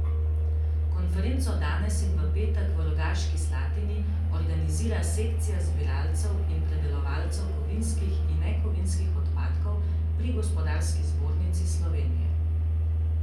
Konferenco danes in v petek v Rogaški Slatini organizira sekcija zbiralcev in predelovalcev kovinskih in nekovinskih odpadkov pri Gospodarski zbornici Slovenije.